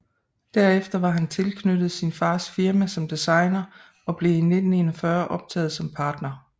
Derefter var han tilknyttet sin fars firma som designer og blev i 1941 optaget som partner